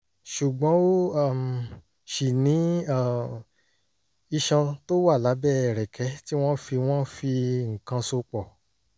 ṣùgbọ́n ó um ṣì ní um iṣan tó wà lábẹ́ ẹ̀rẹ̀kẹ́ tí wọ́n fi wọ́n fi nǹkan so pọ̀